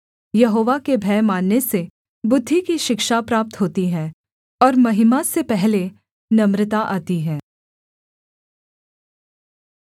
यहोवा के भय मानने से बुद्धि की शिक्षा प्राप्त होती है और महिमा से पहले नम्रता आती है